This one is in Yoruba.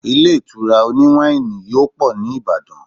ilé ìtura oni wani yóò pọ ni ibadan